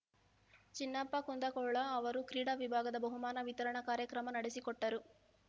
ಜಿನ್ನಪ್ಪ ಕುಂದಗೋಳ ಅವರು ಕ್ರೀಡಾ ವಿಭಾಗದ ಬಹುಮಾನ ವಿತರಣಾ ಕಾರ್ಯಕ್ರಮ ನಡೆಸಿಕೊಟ್ಟರು